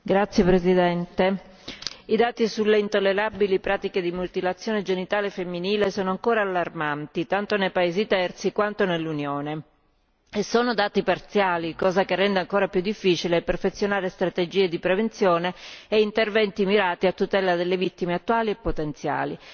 Signora Presidente, onorevoli colleghi, i dati sulle intollerabili pratiche di mutilazione genitale femminile sono ancora allarmanti tanto nei paesi terzi quanto nell'Unione. Inoltre sono dati parziali, cosa che rende ancora più difficile perfezionare strategie di prevenzione e interventi mirati a tutela delle vittime attuali e potenziali.